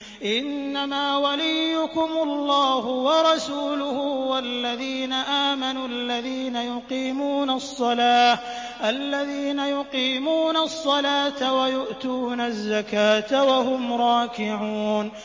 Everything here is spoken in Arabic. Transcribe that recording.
إِنَّمَا وَلِيُّكُمُ اللَّهُ وَرَسُولُهُ وَالَّذِينَ آمَنُوا الَّذِينَ يُقِيمُونَ الصَّلَاةَ وَيُؤْتُونَ الزَّكَاةَ وَهُمْ رَاكِعُونَ